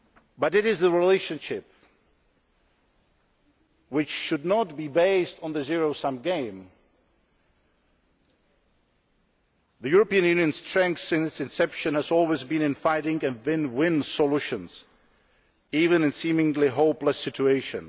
But it is a relationship which should be not based on the zero sum game. The European Union's strength since its inception has always been in finding win win solutions, even in seemingly hopeless situations.